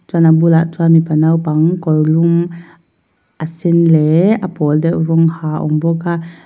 chuan a bulah chuan mipa naupang kawr lum a sen leh a pawl deuh rawng ha a awm bawk a.